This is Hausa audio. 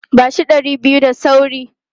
Ba shi ɗari biyu da sauri!